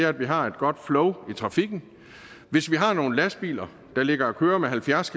at vi har et godt flow i trafikken hvis vi har nogle lastbiler der ligger og kører med halvfjerds